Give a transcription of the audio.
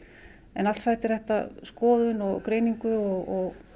en allt sætir þetta skoðun og greiningu og